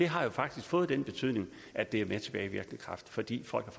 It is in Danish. har faktisk fået den betydning at det er med tilbagevirkende kraft fordi folk